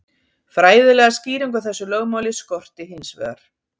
fræðilega skýringu á þessu lögmáli skorti hins vegar